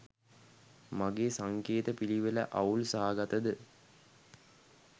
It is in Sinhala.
මගේ සංකේත පිළිවෙලඅවුල් සහගතද?